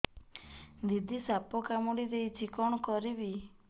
ଦିଦି ସାପ କାମୁଡି ଦେଇଛି କଣ କରିବି